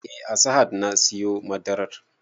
Eh a sahad na siyo madarar